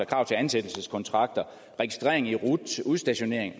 krav til ansættelseskontrakter registrering i rut udstationering